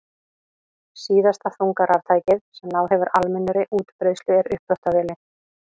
Síðasta þunga raftækið sem náð hefur almennri útbreiðslu er uppþvottavélin.